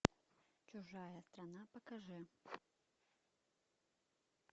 чужая страна покажи